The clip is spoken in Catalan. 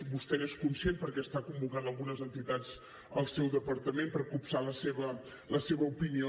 vostè n’és conscient perquè està convocant algunes entitats al seu departament per copsar la seva opinió